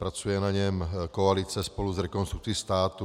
Pracuje na něm koalice spolu s Rekonstrukcí státu.